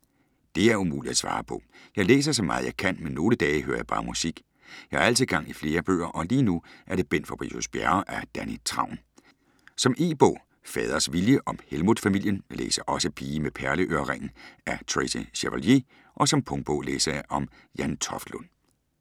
Det er umuligt at svare på. Jeg læser så meget jeg kan, men nogle dage hører jeg bare musik. Jeg har altid gang i flere bøger og lige nu er det Bent Fabricius-Bjerre af Danni Travn. Som e-bog Faders vilje, om Helmuth-familien. Jeg læser også Pige med perleørering af Tracy Chevalier og som punktbog læser jeg om Jan Toftlund.